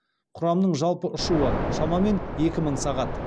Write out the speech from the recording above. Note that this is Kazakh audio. құрамның жалпы ұшуы шамамен екі мың сағат